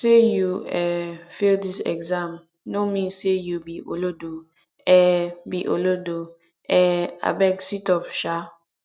sey you um fail dis exam no mean sey you be olodo um be olodo um abeg situp um